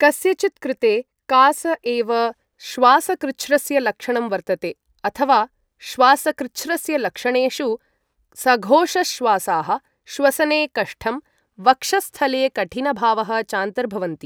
कस्यचित्कृते कास एव श्वासकृच्छ्रस्य लक्षणं वर्तते, अथवा श्वासकृच्छ्रस्य लक्षणेषु सघोषश्वासाः, श्वसने कष्टं, वक्षःस्थले कठिनभावः चान्तर्भवन्ति।